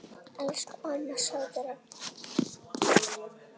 Elsku amma, sofðu rótt.